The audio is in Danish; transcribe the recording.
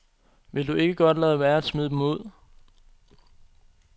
Vil du ikke godt lade være at smide dem ud.